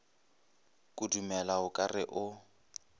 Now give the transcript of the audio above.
kudumela o ka re o